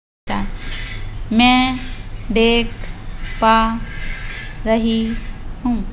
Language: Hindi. मैं देख पा रही हूं।